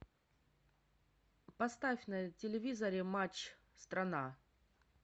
поставь на телевизоре матч страна